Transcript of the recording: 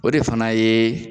O de fana yee